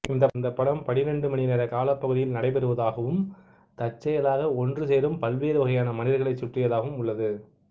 இந்த படம் பன்னிரண்டு மணிநேர காலப்பகுதியில் நடைபெறுவதாகவும் தற்செயலாக ஒன்று சேரும் பல்வேறு வகையான மனிதர்களைச் சுற்றியதாகவும் உள்ளது